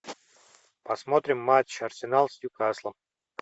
посмотрим матч арсенал с ньюкаслом